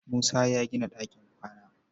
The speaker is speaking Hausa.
Musa ya gina ɗakin kwana.